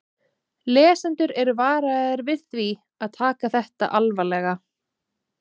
Lesendur eru varaðir við því að taka þetta alvarlega.